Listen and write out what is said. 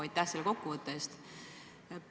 Aitäh selle kokkuvõtte eest!